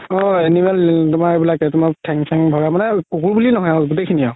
অ animal তুমাৰ এইবিলাকে তুমাৰ ঠেং চেং ভগা মানে পোহো বুলি নহয় গোতেই খিনি আৰু